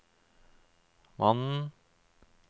mannen